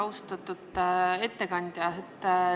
Austatud ettekandja!